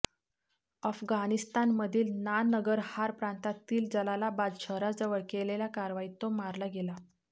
अफगाणिस्तानमधील नानगरहार प्रांतातील जलालाबाद शहराजवळ केलेल्या कारवाईत तो मारला गेला